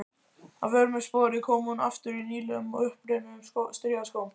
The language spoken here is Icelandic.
Að vörmu spori kom hún aftur í nýlegum, uppreimuðum strigaskóm.